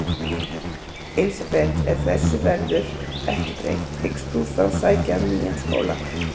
Elísabet: Ef þessu verður ekki breytt, hyggst þú þá sækja um nýjan skóla?